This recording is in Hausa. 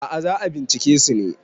a ' a za a bincike su ne